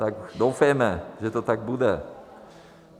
Tak doufejme, že to tak bude.